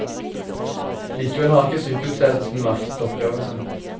Likevel har ikke sykehusledelsen maktet oppgaven sin.